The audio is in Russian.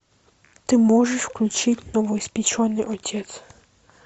ты можешь включить новоиспеченный отец